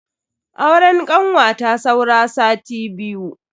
Auren kanwata saura sati biyu.